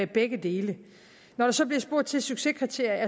begge dele når der så bliver spurgt til succeskriterier